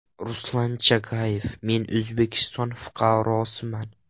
Ruslan Chagayev: Men O‘zbekiston fuqarosiman.